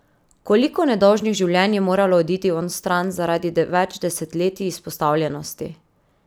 Koliko nedolžnih življenj je moralo oditi onstran zaradi več desetletij izpostavljenosti?